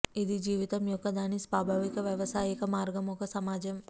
ఇది జీవితం యొక్క దాని స్వాభావిక వ్యావసాయిక మార్గం ఒక సమాజం